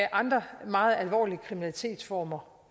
andre meget alvorlige kriminalitetsformer